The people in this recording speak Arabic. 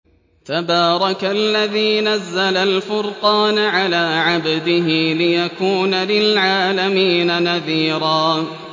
تَبَارَكَ الَّذِي نَزَّلَ الْفُرْقَانَ عَلَىٰ عَبْدِهِ لِيَكُونَ لِلْعَالَمِينَ نَذِيرًا